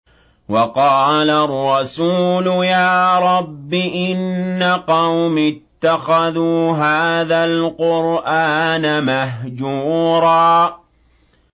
وَقَالَ الرَّسُولُ يَا رَبِّ إِنَّ قَوْمِي اتَّخَذُوا هَٰذَا الْقُرْآنَ مَهْجُورًا